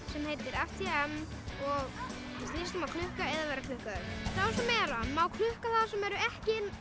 sem heitir af því ann og snýst um að klukka eða vera klukkaður sá sem er ann má klukka þá sem eru ekki